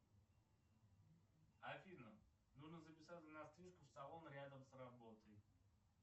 афина нужно записаться на стрижку в салон рядом с работой